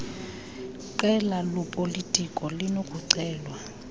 qela lopolitiko linokucelwa